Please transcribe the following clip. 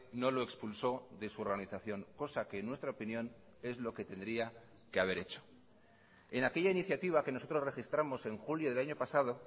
no lo expulsó de su organización cosa que en nuestra opinión es lo que tendría que haber hecho en aquella iniciativa que nosotros registramos en julio del año pasado